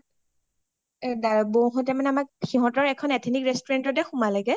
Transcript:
বৌ হ’তে সিহতৰ এখন ethnic restaurant তে সোমালেগে